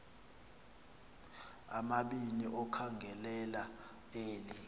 amabini okhangelela eli